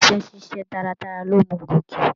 Iṣẹ ṣiṣe taratara lo mú gòke.